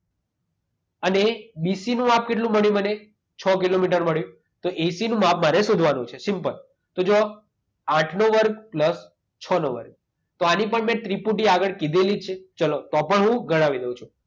અને બીસીનું માપ કેટલું મળ્યું મને? છ કિલોમીટર મળ્યું. તો એસીનું માપ મારે શોધવાનું છે સિમ્પલ. તો જુઓ આઠનો વર્ગ પ્લસ છનો વર્ગ. તો આની પણ મેં ત્રિપુટી આગળ કીધેલી જ છે. ચાલો તો પણ હું ગણાવી દઉં છું.